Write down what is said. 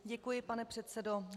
Děkuji, pane předsedo.